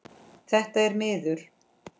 Þetta er miður.